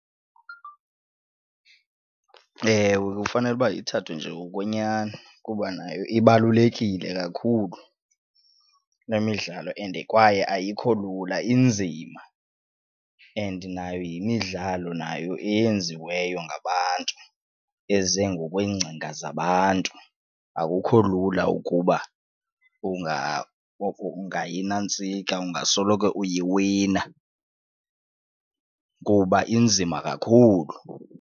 Ewe, kufanele uba ithathwe njengokwenyani kuba nayo ibalulekile kakhulu le midlalo and kwaye ayikho lula inzima and nayo yimidlalo nayo eyenziweyo ngabantu eze ngokweengcinga zabantu, akukho lula ukuba oko ungayinantsika ungasoloko uyiwina kuba inzima kakhulu.